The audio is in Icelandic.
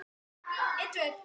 Verður þetta algjört rúst???